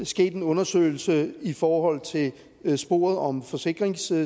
sket en undersøgelse i forhold til sporet om forsikringssvig